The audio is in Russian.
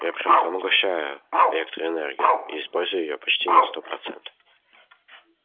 я прямо поглощаю электроэнергию и использую её почти на сто процентов